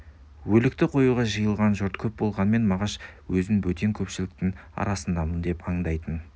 өлікті қоюға жиылған жұрт көп болғанмен мағаш өзін бөтен көпшіліктің арасындамын деп андайтын